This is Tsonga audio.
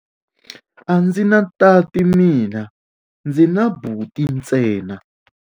A ndzi na tati mina, ndzi na buti ntsena.